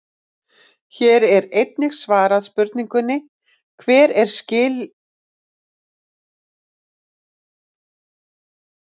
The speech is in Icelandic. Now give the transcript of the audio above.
Hér er einnig svarað spurningunni: Hver eru skilyrðin til kosningaréttar?